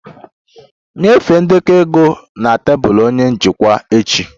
Nyefee ndekọ ego na tebụl onye njikwa echi!